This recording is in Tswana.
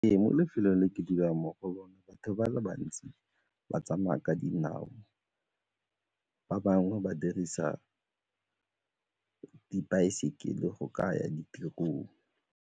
Ee, mo lefelong le ke dulang mo go lone batho ba le bantsi ba tsamaya ka dinao, ba bangwe ba dirisa dibaesekele go ka ya ditirong.